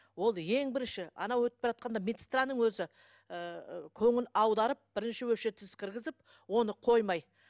ол ең бірінші анау өтіп баратқанда медсестраның өзі ыыы көңіл аударып бірінші өшіретсіз кіргізіп оны қоймай